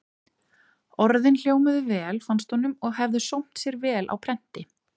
Orðin hljómuðu vel, fannst honum, og hefðu sómt sér vel á prenti.